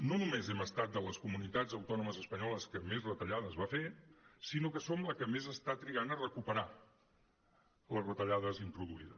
no només hem estat de les comunitats autònomes espanyoles que més retallades va fer sinó que som la que més està trigant a recuperar les retallades introduïdes